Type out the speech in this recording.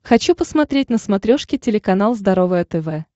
хочу посмотреть на смотрешке телеканал здоровое тв